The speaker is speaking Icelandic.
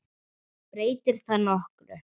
Breytir það nokkru?